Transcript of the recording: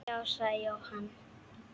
Já, sagði Jóhann.